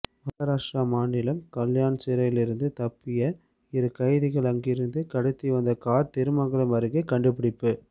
மகாராஷ்டிரா மாநிலம் கல்யாண் சிறையிலிருந்து தப்பிய இரு கைதிகள் அங்கிருந்து கடத்தி வந்த கார் திருமங்கலம் அருகே கண்டுபிடிப்பு